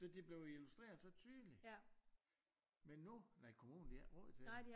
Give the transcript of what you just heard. Så det blev jo illustreret så tydelig men nu nej kommunen de har ikke råd til det